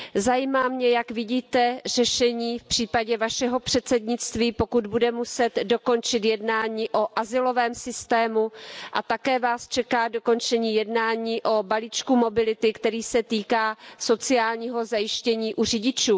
Zajímá mě, jak vidíte řešení v případě Vašeho předsednictví, pokud bude muset dokončit jednání o azylovém systému, a také Vás čeká dokončení jednání o balíčku mobility, který se týká sociálního zajištění u řidičů.